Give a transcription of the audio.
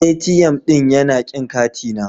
ATM ɗin yana kin katina.